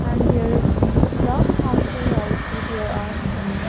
and there is the glass counter also there are some--